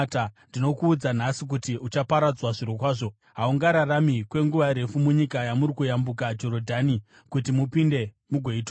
ndinokuudza nhasi kuti uchaparadzwa zvirokwazvo. Haungararami kwenguva refu munyika yamuri kuyambuka Jorodhani kuti mupinde mugoitora.